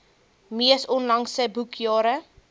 mees onlangse boekjare